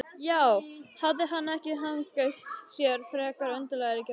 Já, hafði hann ekki hagað sér frekar undarlega í gærkvöld?